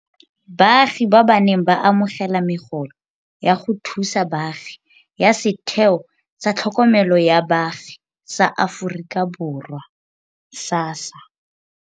Baagi ba ba neng ba amogela megolo ya go thusa baagi ya Setheo sa Tlhokomelo ya Baagi sa Aforika Borwa, SASSA,